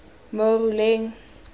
moruleng